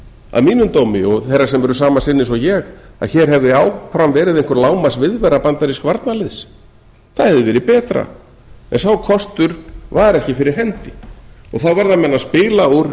að mínum dómi og þeirra sem eru sama sinnis og ég að hér hefði áfram verið einhver lágmarksviðvera bandarísks varnarliðs það hefði verið betra en sá kostur var ekki fyrir hendi þá verða menn að spila úr